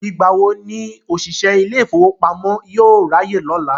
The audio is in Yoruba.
Ìgbà wo ni òṣìṣẹ́ ilé ìfowópamọ́ yóò ráyè lọ́la?